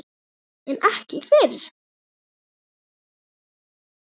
En ekki fyrr.